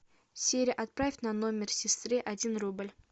сири отправь на номер сестры один рубль